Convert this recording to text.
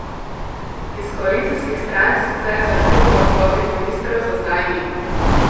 Iz koalicijskih strank sicer zahtev po odstopih ministrov za zdaj ni.